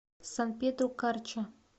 сан педро карча